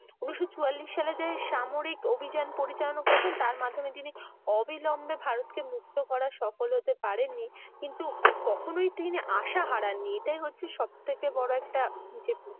উনিশ চুয়াল্লিশ সালে যে, সামরিক অভিযান পরিচালনা করেছেন ।তার মাধ্যমে তিনি অভিলম্বে ভারতকে মুক্তি করার সফল হতে পাড়েননি। কিন্তু কখনোই তিনি আশা হারাননি। এটাই হচ্ছে সব থেকে বড় একটা জেদ।